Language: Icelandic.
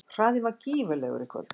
Hraðinn var gífurlegur í kvöld